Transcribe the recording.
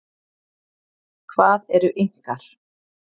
Hvað eru Inkar?